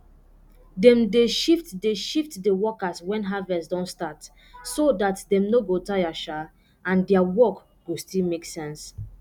dem dey shift dey shift di workers wen harvest don start so dat dem no go tire um and dia work go still make sense